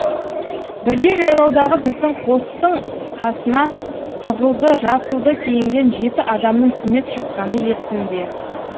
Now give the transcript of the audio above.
бірде жайлаудағы біздің қостың қасына қызылды жасылды киінген жеті адамның түнеп шыққаны есімде